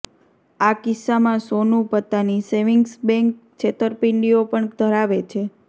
આ કિસ્સામાં સોનું પત્તાની સેવિંગ્સ બેન્ક છેતરપિંડીંઓ પણ ધરાવે છે